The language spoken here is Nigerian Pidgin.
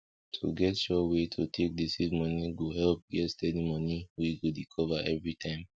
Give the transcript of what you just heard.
to get sure way to take dey save moni go help get steady moni wey go dey cover everytime